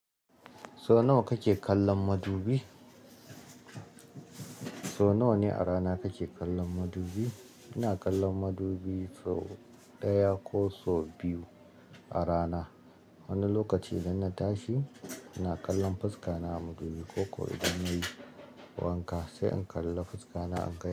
So nawa kake kallon madubi? So nawa ne a rana kake kallon madubi? Ina kallon madubi so ɗaya ko so biyu a rana. Wani lokaci idan na tashi, ina kallon fuska na a madubi, ko ko idan na yi wanka sai in kalla fuska na a madubi.